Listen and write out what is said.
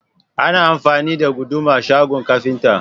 Ana amfani da Guduma shagon kafinta.